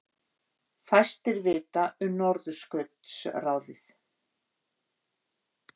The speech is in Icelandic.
Fæstir vita um Norðurskautsráðið